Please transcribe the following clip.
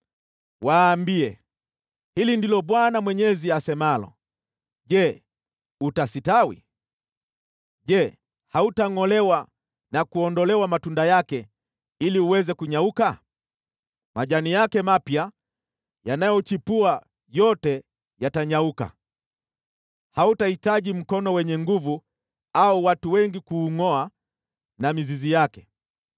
“Waambie, ‘Hili ndilo Bwana Mwenyezi asemalo: Je, utastawi? Je, hautangʼolewa na kuondolewa matunda yake, ili uweze kunyauka? Majani yake mapya yanayochipua yote yatanyauka. Hautahitaji mkono wenye nguvu au watu wengi kuungʼoa na mizizi yake.